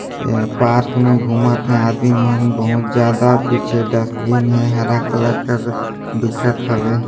एक पार्क मे घुमत हे आदमी मन बोहोत ज्यादा पीछे डस्ट्बिन हे हरा कलर का दिखत हवे।